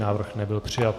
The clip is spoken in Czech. Návrh nebyl přijat.